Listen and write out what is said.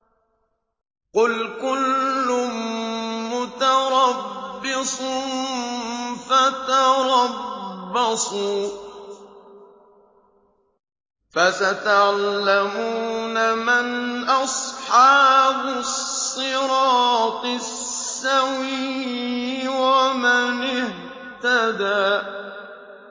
قُلْ كُلٌّ مُّتَرَبِّصٌ فَتَرَبَّصُوا ۖ فَسَتَعْلَمُونَ مَنْ أَصْحَابُ الصِّرَاطِ السَّوِيِّ وَمَنِ اهْتَدَىٰ